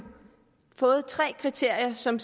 fået tre kriterier som